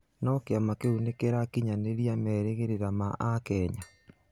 No kĩama kĩu nĩkĩrakinyanĩria merigĩrĩra ma akenya?